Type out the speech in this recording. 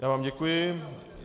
Já vám děkuji.